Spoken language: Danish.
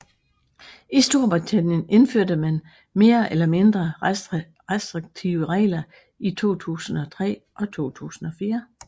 I Storbritannien indførte man mere eller mindre restriktive regler i 2003 og 2004